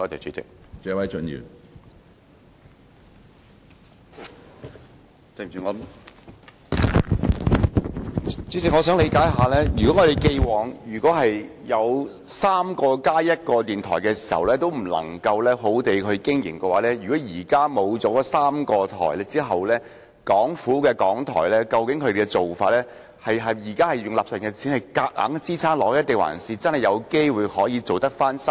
主席，我想了解，如果我們過往有3個加1個電台尚且不能妥善地經營，現在失去3個電台後，究竟港台是否正在使用納稅人的錢勉強支撐下去，還是真的有機會可以恢復生機？